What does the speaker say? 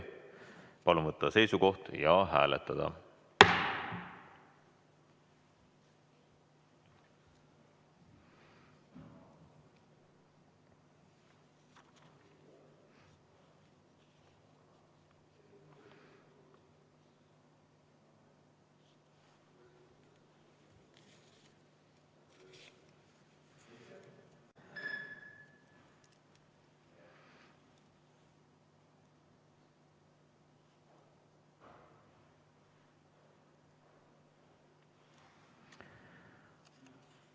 Palun võtta seisukoht ja hääletada!